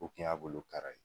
O tun y'a bolo kara ye